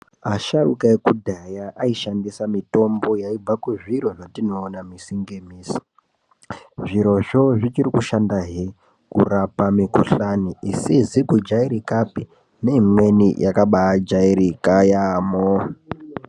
Asharuka ekudhaya aishandisa mitombo yaibva kuzviro zvatinoona misi ngemisi. Zvirozvo zvichiri kushandahe kurapa mikuhlani isizi kujairikapi neimweni yakabaajairika yaamho.